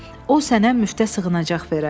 O sənə müftə sığınacaq verər.